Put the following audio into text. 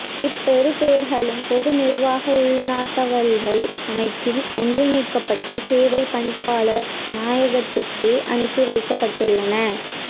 இப்பெறுபேறுகளும் பொதுநிர்வாக உள்நாட்டலுவல்கள் அமைச்சின் ஒன்றிணைக்கப்பட்ட சேவை பணிப்பாளர் நாயகத்துக்கே அனுப்பி வைக்கப்பட்டுள்ளன